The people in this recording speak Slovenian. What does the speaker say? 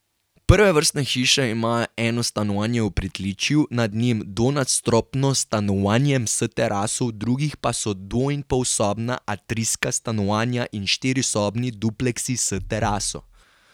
Prve vrstne hiše imajo eno stanovanje v pritličju, nad njim dvonadstropno stanovanjem s teraso, v drugih pa so dvoinpolsobna atrijska stanovanja in štirisobni dupleksi s teraso.